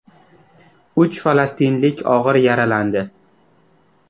Uch falastinlik og‘ir yaralandi.